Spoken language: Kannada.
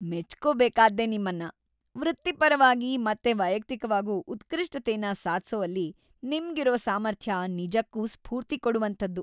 ಮೆಚ್ಕೋಬೇಕಾದ್ದೇ ನಿಮ್ಮನ್ನ! ವೃತ್ತಿಪರವಾಗಿ ಮತ್ತೆ ವೈಯಕ್ತಿಕವಾಗೂ ಉತ್ಕೃಷ್ಟತೆನ ಸಾಧ್ಸೋವಲ್ಲಿ ನಿಮ್ಗಿರೋ ಸಾಮರ್ಥ್ಯ ನಿಜಕ್ಕೂ ಸ್ಫೂರ್ತಿ ಕೊಡೋಂಥದ್ದು.